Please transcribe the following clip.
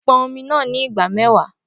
Pon omi naa ni ìgbà mẹ́wàá